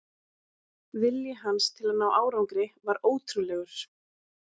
Vilji hans til að ná árangri var ótrúlegur.